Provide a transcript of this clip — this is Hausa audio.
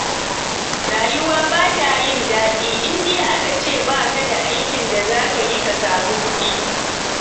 Rayuwa ba ta yin daɗi idan aka ce ba ka da aikin da za ka yi ka samu kuɗi.